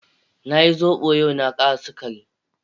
Na yi zobo yau, na kara sugari.